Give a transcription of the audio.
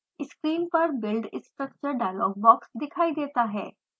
screen पर build structure dialog box दिखाई देता है